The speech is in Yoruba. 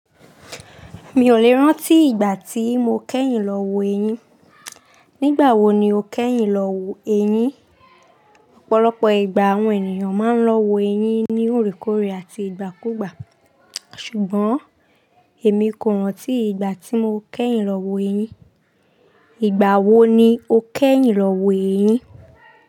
Mi ò lè rántí ìgbà tí mo kẹ́yìn lọ wo eyín. Nígbà wo ni o kẹ́yìn lọ wo eyín? Ọ̀pọ̀lọpọ̀ ìgbà àwọn ènìyàn máa ń lọ wo eyín ní òrèkorè àti ìgbàkúgbà. Ṣùgbọ́n èmi kò rántí ìgbà tí mo kẹ́yìn lọ wo eyín. Ìgbà wo ni o kẹ́yìn lọ wo eyín?